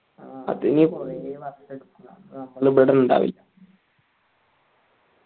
ആ അത് കോരി വർഷമെടുക്കും അപ്പൊ നമ്മൾ ഇവിടെയുണ്ടാവില്ലാ